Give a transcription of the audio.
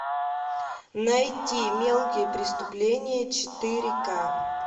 найти мелкие преступления четыре ка